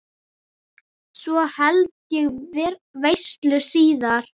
Svo held ég veislu síðar.